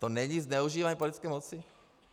To není zneužívání politické moci?